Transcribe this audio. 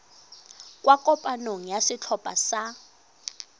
kwa kopanong ya setlhopha sa